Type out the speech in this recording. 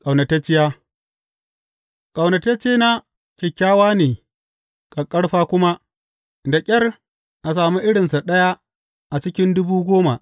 Ƙaunatacciya Ƙaunataccena kyakkyawa ne ƙaƙƙarfa kuma, da ƙyar a sami irinsa ɗaya a cikin dubu goma.